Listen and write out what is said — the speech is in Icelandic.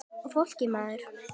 Og fólkið maður.